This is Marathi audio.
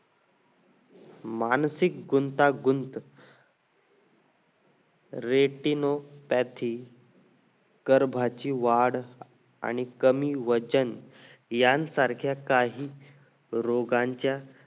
मानसिक गुंतागुंत retinopathy गर्भाची वाढ आणि कमी वजन यां सारख्या काही रोगांच्या